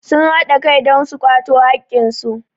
sun haɗa Kai don su kwato haƙƙinsu